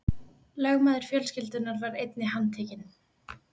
Lögmaður fjölskyldunnar var einnig handtekinn